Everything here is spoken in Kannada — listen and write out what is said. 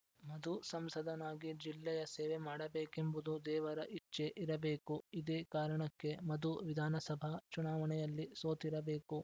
ಮಧು ಸಂಸದನಾಗಿ ಜಿಲ್ಲೆಯ ಸೇವೆ ಮಾಡಬೇಕೆಂಬುದು ದೇವರ ಇಚ್ಛೆ ಇರಬೇಕು ಇದೇ ಕಾರಣಕ್ಕೆ ಮಧು ವಿಧಾನಸಭಾ ಚುನಾವಣೆಯಲ್ಲಿ ಸೋತಿರಬೇಕು